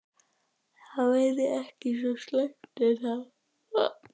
Það væri ekki svo slæmt er það?